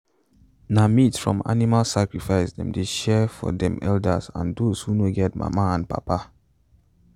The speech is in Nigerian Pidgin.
na meat from animal sacrifice them dey share for them elders and those who no get papa and mama